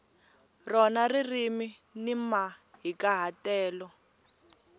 rona ririmi ni mahikahatelo